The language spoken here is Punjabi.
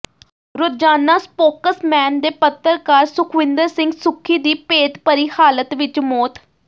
ਰੋਜ਼ਾਨਾ ਸਪੋਕਸਮੈਨ ਦੇ ਪੱਤਰਕਾਰ ਸੁਖਵਿੰਦਰ ਸਿੰਘ ਸੁੱਖੀ ਦੀ ਭੇਤਭਰੀ ਹਾਲਤ ਵਿੱਚ ਮੌਤ